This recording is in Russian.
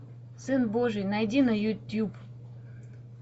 сын божий найди на ютуб